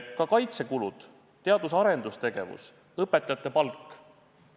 Ka kaitsekulud, teadus- ja arendustegevus, õpetajate palk.